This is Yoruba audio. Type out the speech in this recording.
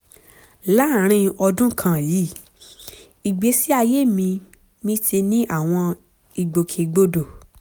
láàárín ọdún kan yìí ìgbésí ayé mi mi ti ní àwọn ìgbòkè gbodò